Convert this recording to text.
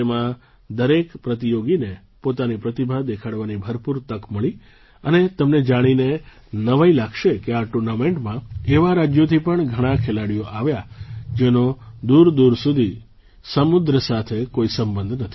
તેમાં દરેક પ્રતિયોગીને પોતાની પ્રતિભા દેખાડવાની ભરપૂર તક મળી અને તમને જાણીને નવાઈ લાગશે કે આ ટુર્નામેન્ટમાં એવા રાજ્યોથી પણ ઘણા ખેલાડીઓ આવ્યા જેનો દૂરદૂર સુધી સમુદ્ર સાથે કોઈ સંબંધ નથી